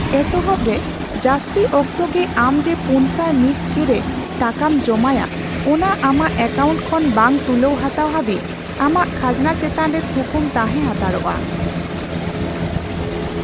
ᱮᱛᱚᱦᱚᱵ ᱨᱮ, ᱡᱟᱹᱥᱛᱤ ᱚᱠᱛᱚ ᱜᱮ ᱟᱢ ᱡᱮ ᱯᱩᱱᱥᱟᱭ ᱢᱤᱛ ᱠᱮ ᱨᱮ ᱴᱟᱠᱟᱢ ᱡᱚᱢᱟᱭᱟ ᱚᱱᱟ ᱟᱢᱟᱜ ᱮᱠᱟᱭᱣᱩᱱᱴ ᱠᱷᱚᱱ ᱵᱟᱝ ᱛᱩᱞᱟᱹᱣ ᱦᱟᱛᱟᱣ ᱦᱟᱹᱵᱤᱡ ᱟᱢᱟᱜ ᱠᱷᱟᱡᱱᱟ ᱪᱮᱛᱟᱱ ᱨᱮ ᱛᱷᱩᱠᱩᱢ ᱛᱟᱦᱮᱸ ᱦᱟᱛᱟᱲᱚᱜᱼᱟ ᱾